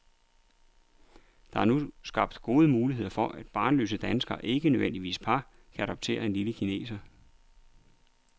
Der er nu skabt gode muligheder for, at barnløse danskere, ikke nødvendigvis par, kan adoptere en lille kineser.